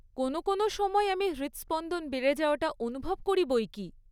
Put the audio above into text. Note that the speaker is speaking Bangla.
কোনো কোনো সময়ে আমি হৃদস্পন্দন বেড়ে যাওয়াটা অনুভব করি বইকী।